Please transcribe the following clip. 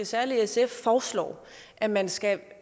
særlig sf foreslår at man skal